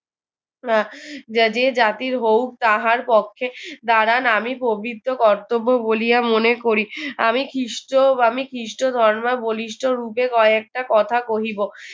যে জাতির হউক তাহার পক্ষে দাঁড়ান আমি পবিত্র কর্তব্য বলিয়া মনে করি আমি খীষ্ট আমি খীষ্টধর্মাবলী বলিষ্ঠ রূপে কয়েকটা কথা কহিব